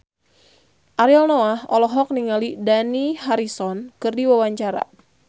Ariel Noah olohok ningali Dani Harrison keur diwawancara